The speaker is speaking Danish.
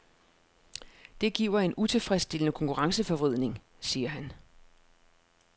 Det giver en utilfredsstillende konkurrenceforvridning, siger han.